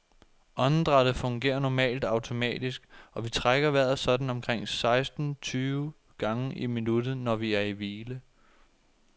Åndedrættet fungerer normalt automatisk, og vi trækker vejret sådan omkring seksten tyve gange i minuttet, når vi er i hvile.